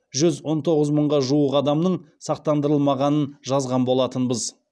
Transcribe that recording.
жүз он тоғыз мыңға жуық адамның сақтандырылмағанын жазған болатынбыз